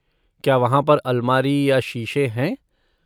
क्या वहाँ पर अलमारी या शीशे हैं?